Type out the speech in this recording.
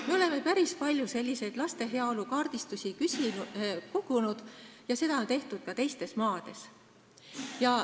Me oleme päris palju selliseid laste heaolu kaardistusi kogunud ja seda on tehtud ka teistes maades.